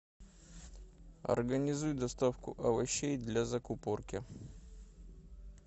организуй доставку овощей для закупорки